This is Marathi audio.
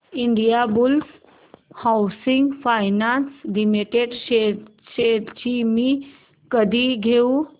Indiabulls housing finance limited shares मी कधी घेऊ